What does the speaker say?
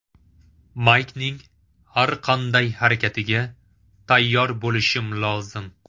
Maykning har qanday harakatiga tayyor bo‘lishim lozim.